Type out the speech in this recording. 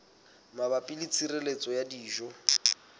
mabapi le tshireletso ya dijo